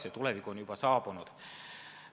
See tulevik on juba saabunud.